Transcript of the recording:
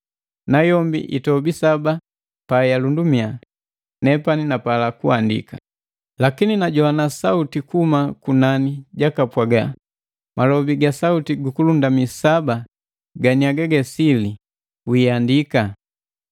Nayombi itobi saba pa yalundumia, nepani napala kuandika. Lakini najowa sauti kuhuma kunani jakapwaga, “Malobi ga sauti ju kulundami saba ganiagage ga sili wiiandika!.”